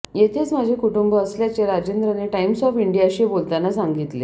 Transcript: येथेच माझे कुटुंब असल्याचे राजेंद्रने टाइम्स ऑफ इंडियाशी बोलताना सांगितले